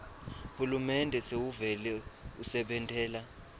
hulumende sewuvele usebentela